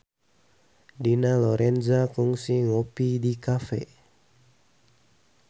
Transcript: Dina Lorenza kungsi ngopi di cafe